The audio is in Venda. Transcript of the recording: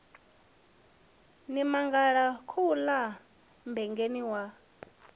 ni mangala khouḽa mmbengeni wa